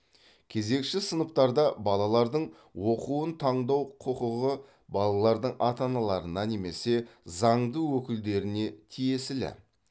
кезекші сыныптарда балалардың оқуын таңдау құқығы балалардың ата аналарына немесе заңды өкілдеріне тиесілі